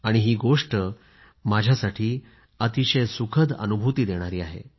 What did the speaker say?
ही गोष्ट माझ्यासाठी अतिशय सुखद अनुभूती देणारी आहे